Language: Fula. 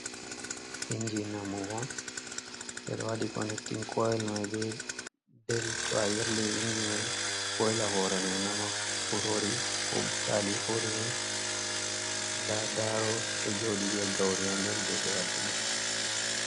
Inji namuwo, ɓeɗo waɗi konectin koil mai ɓe bel to ayirli inji mai, ɓoila hore mai nama, kurori ko butali kodume, nɗa daro joɗi ɓe gauri ha nɗer je ɓe waɗi na mol.